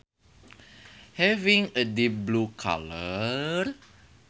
Having a deep blue colour